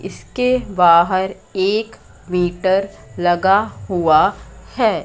इसके बाहर एक मीटर लगा हुआ है।